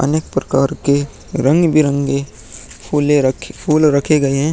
अनेक प्रकार के रंग-बिरंगे फूले फूल रखे गये हैं।